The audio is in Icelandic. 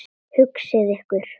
Hugsið ykkur!